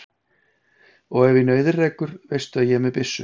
Og ef í nauðir rekur veistu að ég er með byssu.